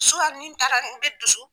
Suwan ni n taara n be dusu